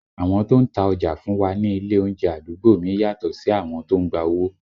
Àwọn tó ń ta ọjà fún wa ní ilé oúnjẹ àdúgbò mi yàtọ̀ sí àwọn tó ń gba owó